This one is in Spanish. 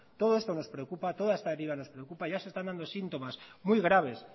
todo esto nos preocupa toda esta deriva nos preocupa ya se están dando síntomas muy graves